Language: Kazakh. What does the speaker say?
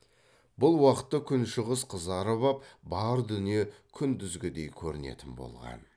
бұл уақытта күншығыс қызарып ап бар дүние күндізгідей көрінетін болған